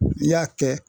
N'i y'a kɛ